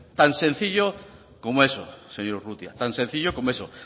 tan sencillo como eso señor urrutia tan sencillo como eso